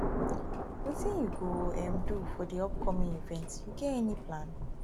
wetin you go um do for di upcoming event you get any plan